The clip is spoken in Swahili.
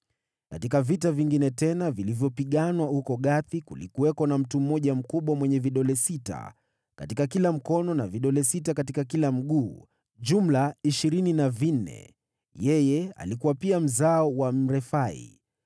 Katika vita vingine tena, vilivyopiganwa huko Gathi, kulikuwako na mtu mmoja mkubwa mwenye vidole sita katika kila mkono na vidole sita katika kila mguu: jumla vidole ishirini na vinne. Yeye alikuwa pia mzao wa Mrefai.